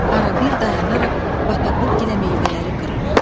Arada bir dayanaraq bataqlıq gilə meyvələri qırırdı.